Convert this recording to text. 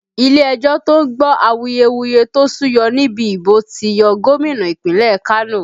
Ilé ẹjọ́ to ń gbọ́ awuyewuye tó súyọ nínú ìbò ti yọ Gómìnà ìpínlẹ̀ Kano